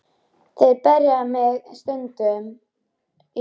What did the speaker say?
Þeir berja mig sundur og saman, hugsaði Lalli.